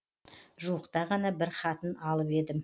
жуықта ғана бір хатын алып едім